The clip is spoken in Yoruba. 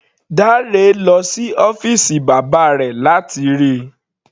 Dare lọ sí ọ́fìsì bàbá rẹ̀ láti rí i.